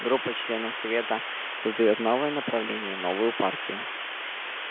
группа членов совета создаёт новое направление новую партию